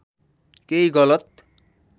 केही गलत